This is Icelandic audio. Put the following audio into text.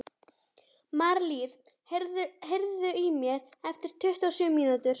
Marlís, heyrðu í mér eftir tuttugu og sjö mínútur.